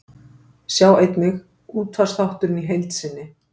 Sjá einnig: Útvarpsþátturinn í heild sinni